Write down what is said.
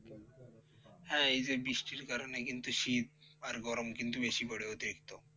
হ্যাঁ এই যে বৃষ্টির কারণে কিন্তু শীত আর গরম কিন্তু বেশি করে অতিরিক্ত।